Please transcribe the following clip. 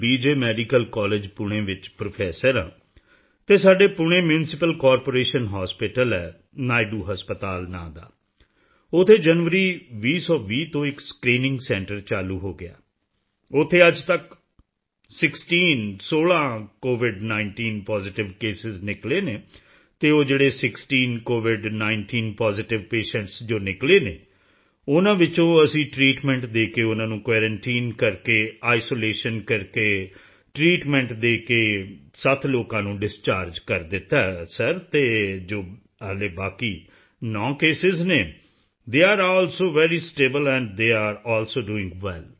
medical college Pune ਵਿੱਚ professor ਹਾਂ ਤੇ ਸਾਡੇ ਪੂਣੇ ਮਿਊਨਿਸਿਪਲ ਕਾਰਪੋਰੇਸ਼ਨ ਹਾਸਪਿਟਲ ਹੈ ਨਾਇਡੂ ਹਸਪਤਾਲ ਨਾਂ ਦਾ ਉੱਥੇ ਜਨਵਰੀ 2020 ਤੋਂ ਇੱਕ ਸਕ੍ਰੀਨਿੰਗ ਸੈਂਟਰ ਚਾਲੂ ਹੋ ਗਿਆ ਹੈ ਉੱਥੇ ਅੱਜ ਤੱਕ 16 ਸਿਕਸਟੀਨ COVID19 ਪੋਜ਼ੀਟਿਵ ਕੇਸਾਂ ਨਿਕਲੇ ਹਨ ਅਤੇ ਉਹ ਜਿਹੜੇ ਸਿਕਸਟੀਨ COVID19 ਪੋਜ਼ੀਟਿਵ ਪੇਸ਼ੈਂਟਸ ਜੋ ਨਿਕਲੇ ਹਨ ਉਨ੍ਹਾਂ ਵਿੱਚੋਂ ਅਸੀਂ ਟ੍ਰੀਟਮੈਂਟ ਦੇ ਕੇ ਉਨ੍ਹਾਂ ਨੂੰ ਕੁਆਰੰਟਾਈਨ ਕਰਕੇ ਆਈਸੋਲੇਸ਼ਨ ਕਰਕੇ ਟ੍ਰੀਟਮੈਂਟ ਦੇ ਕੇ 7 ਲੋਕਾਂ ਨੂੰ ਡਿਸਚਾਰਜ ਕਰ ਦਿੱਤਾ ਹੈ ਸਰ ਅਤੇ ਜੋ ਅਜੇ ਬਾਕੀ 9 ਕੇਸਾਂ ਹਨ they are also very stable and they are also doing well